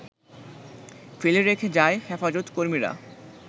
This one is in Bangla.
ফেলে রেখে যায় হেফাজতকর্মীরা,